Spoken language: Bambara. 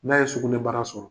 N'a ye sugunɛ bara sɔrɔ.